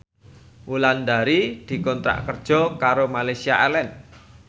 Wulandari dikontrak kerja karo Malaysia Airlines